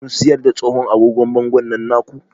Kun siyar da tsohon agogon bangon nan na ku?